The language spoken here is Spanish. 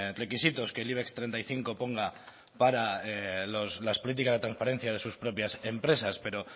requisitos que el ibex treinta y cinco ponga para las políticas de transparencia para sus propias empresas pero